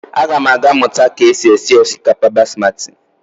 Agam aga muta ka e si esi osikapa basmati.